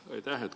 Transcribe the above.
Aitäh!